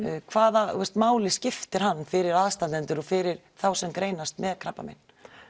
hvaða máli skiptir hann fyrir aðstandendur og fyrir þá sem greinast með krabbamein